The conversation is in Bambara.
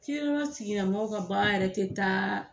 Kirayasigila mɔgɔw ka baara yɛrɛ te ta